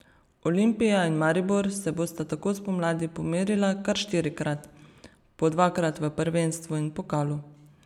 Olimpija in Maribor se bosta tako spomladi pomerila kar štirikrat, po dvakrat v prvenstvu in pokalu.